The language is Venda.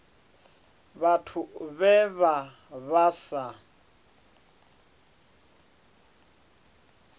vhathu vhe vha vha sa